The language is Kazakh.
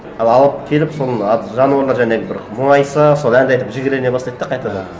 ал алып келіп соны ат жануарлар жанағы бір мұңайса соны әндетіп жігерлене бастайды да қайтадан